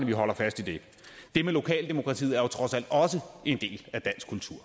vi holder fast i det det med lokaldemokratiet er jo trods alt også en del af dansk kultur